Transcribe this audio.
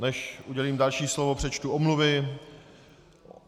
Než udělím další slovo, přečtu omluvy.